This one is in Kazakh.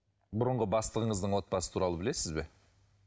бұрынғы бастығыңыздың отбасы туралы білесіз бе